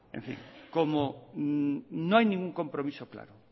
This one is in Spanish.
en fin como no hay ningún compromiso claro